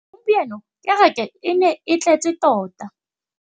Gompieno kêrêkê e ne e tletse tota.